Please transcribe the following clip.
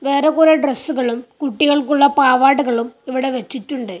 വേറെ കുറെ ഡ്രസ്സുകളും കുട്ടികൾക്കുള്ള പാവാടകളും ഇവിടെ വച്ചിട്ടുണ്ട്.